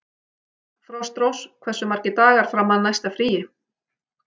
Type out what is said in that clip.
Frostrós, hversu margir dagar fram að næsta fríi?